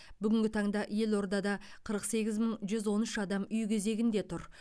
бүгінгі таңда елордада қырық сегіз мың жүз он үш адам үй кезегінде тұр